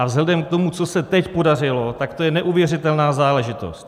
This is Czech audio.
A vzhledem k tomu, co se teď podařilo, tak to je neuvěřitelná záležitost.